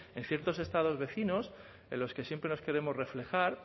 en ciertos estados vecinos en los que siempre nos queremos reflejar